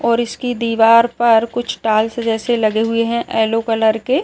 और इसकी दिवार पर कुछ टाईल्स जेसे लगे हुए है येल्लो कलर के --